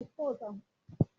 Màá pàdé rẹ ní ibiṣẹ́ ní ọ̀la